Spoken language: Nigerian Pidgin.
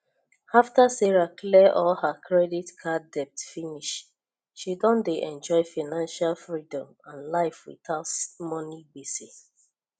after sarah clear all her credit card debt finish she don dey enjoy financial freedom and life without money gbese